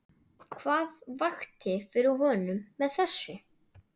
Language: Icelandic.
Hvað vakti fyrir honum með þessu?